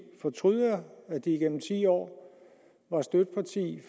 fortryder at de gennem ti år var støtteparti